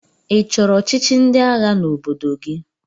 Ị chọrọ ọchịchị ndị agha n'obodo gị?